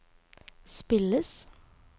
spilles